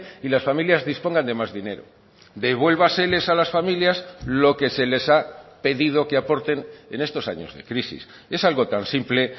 y las familias dispongan de más dinero devuélvaseles a las familias lo que se les ha pedido que aporten en estos años de crisis es algo tan simple